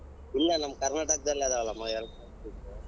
ಇಲ್ಲೇ ನಮ್ ಕರ್ನಾಟಕದಲ್ಲಿ ಅದವಲ್ಲಮ್ಮಎರ್ಡ್ ಮೂರ್ beach .